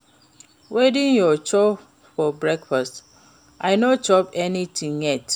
Wetin you chop for breakfast? I no chop anything yet.